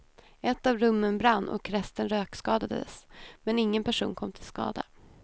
Ett av rummen brann och resten rökskadades, men ingen person kom till skada.